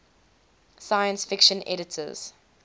science fiction editors